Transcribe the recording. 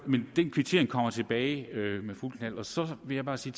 kvittering kommer tilbage med fuldt knald og så vil jeg bare sige